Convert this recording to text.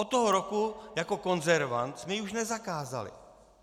Od toho roku jako konzervant jsme ji už nezakázali.